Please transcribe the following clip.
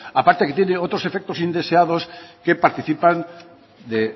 a parte que tiene otros efectos indeseados que participan